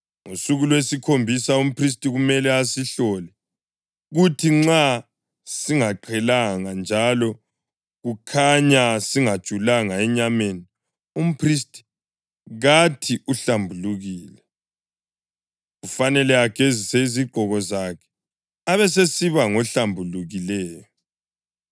Ngosuku lwesikhombisa umphristi kumele asihlole, kuthi nxa singaqhelanga njalo kukhanya singajulanga enyameni, umphristi kathi uhlambulukile. Kufanele agezise izigqoko zakhe, abesesiba ngohlambulukileyo.